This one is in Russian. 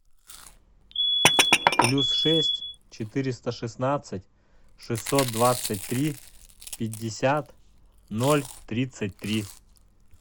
плюс шесть четыреста шестнадцать шестьсот двадцать три пятьдесят ноль тридцать три